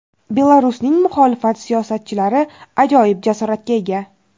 Belarusning muxolifat siyosatchilari ajoyib jasoratga ega.